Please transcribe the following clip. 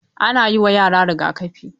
Ana yi wa yara riga-kafi.